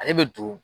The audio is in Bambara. Ale bɛ don